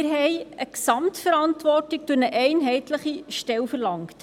Zudem verlangten wir eine Gesamtverantwortung durch eine einheitliche Stelle verlangt.